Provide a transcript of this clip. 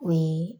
O ye